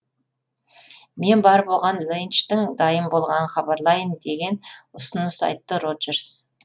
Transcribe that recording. мен барып оған ленчтің дайын болғанын хабарлайын деген ұсыныс айтты роджерс